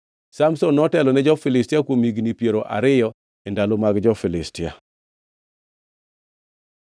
Samson notelo ne Israel kuom higni piero ariyo e ndalo mag jo-Filistia.